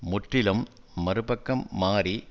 முற்றிலும் மறு பக்கம் மாறி